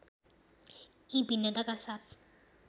यी भिन्नताका साथ